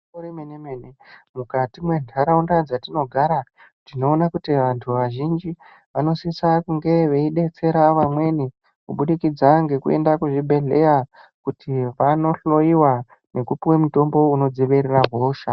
Igwinyiso remene mene mukati mwentaraunda dzatinogara tinoona kuti vantu vazhinji vanosisa kunge veidetsera vamweni kubudikidza ngekuende kuzvibhedhleya kuti vanohloyiwa nekupuwa mutombo unodzivirira hosha.